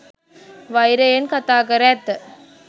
වෛරයෙන් කතාකර ඇත.